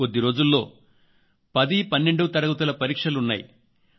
కొద్ది రోజుల్లో 1012 తరగతుల పరీక్షలు ఉన్నాయి